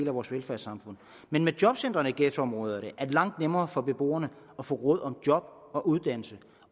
af vores velfærdssamfund men med jobcentre i ghettoområderne er det langt nemmere for beboerne at få råd om job og uddannelse